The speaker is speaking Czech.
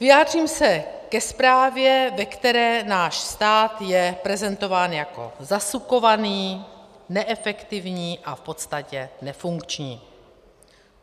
Vyjádřím se ke zprávě, ve které náš stát je prezentován jako zasukovaný, neefektivní a v podstatě nefunkční.